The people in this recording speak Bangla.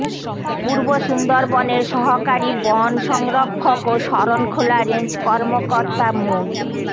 পূর্ব সুন্দরবনের সহকারী বন সংরক্ষক ও শরণখোলা রেঞ্জ কর্মকর্তা মো